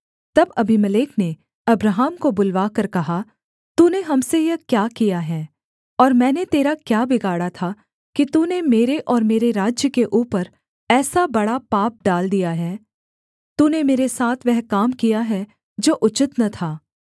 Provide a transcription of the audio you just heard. तब अबीमेलेक ने अब्राहम को बुलवाकर कहा तूने हम से यह क्या किया है और मैंने तेरा क्या बिगाड़ा था कि तूने मेरे और मेरे राज्य के ऊपर ऐसा बड़ा पाप डाल दिया है तूने मेरे साथ वह काम किया है जो उचित न था